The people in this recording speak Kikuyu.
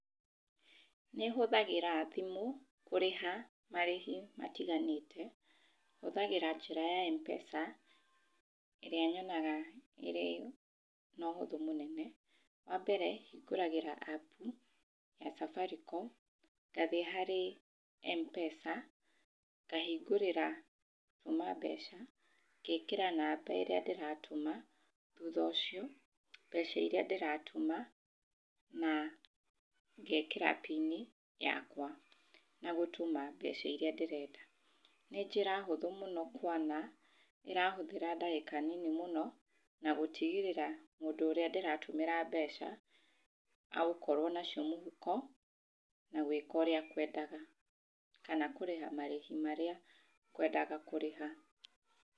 Nĩ hũthagĩra thimũ kũrĩha marĩhi matiganĩte. Hũthagĩra njĩra ya mpesa ĩrĩa nyonaga ĩrĩ noũhũthũ mũnene. Wambere hingũragĩra app ya safaricom, ngathiĩ harĩ mpesa, ngahigurĩra gũtũma mbeca, ngekĩra namba ĩrĩa ndĩratũma, thutha ũcio mbeca iria ndĩratũma na ngekĩra pini yakwa ya gũtũma mbeca iria ndĩrenda. Nĩ njĩra hũthũ kuona ĩrahũthĩra ndagĩka nyingĩ mũno, na gũtigĩrĩra mũndũ ũrĩa ndĩratũmĩra mbeca agũkorwo nacio mũhũko na gwĩka ũrĩa ekwendaga, kana kũrĩha marĩhi marĩa ngwendaga kũrĩha.